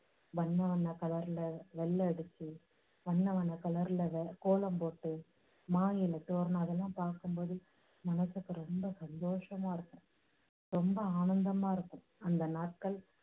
வண்ண வண்ண colour ல வெள்ளை அடிச்சு, வண்ண வண்ண colour ல வெர~ கோலம் போட்டு மாயிலை தோரணம் அதெல்லாம் பார்க்கும் போது மனசுக்கு ரொம்ப சந்தோஷமாயிருக்கும். ரொம்ப ஆனந்தமா இருக்கும். அந்த நாட்கள்